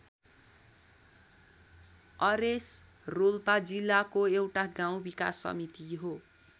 Ares Rolpa जिल्लाको एउटा गाउँ विकास समिति हो।